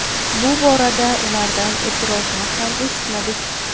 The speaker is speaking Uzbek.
Bu borada ulardan e’tirozlar ham eshitmadik.